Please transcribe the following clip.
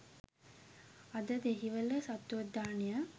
අද දෙහිවල සත්වෝද්‍යානය